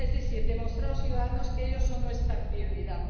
Es decir, demostrar a los ciudadanos que ellos son nuestra prioridad.